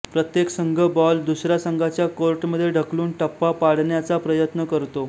प्रत्येक संघ बॉल दुसऱ्या संघाच्या कोर्टमध्ये ढकलून टप्पा पाडण्याचा प्रयत्न करतो